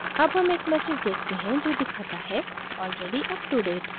अब हम एक message देखते हैं जो दिखाता है already uptodate